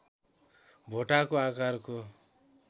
भोटाको आकारको